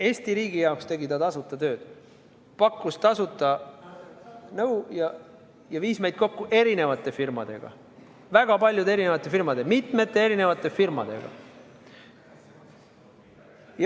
Eesti riigi jaoks tegi ta tasuta tööd, pakkus tasuta nõu ja viis meid kokku erinevate firmadega, väga paljude firmadega, mitmete erinevate firmadega.